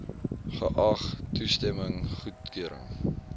geag toestemming goedkeuring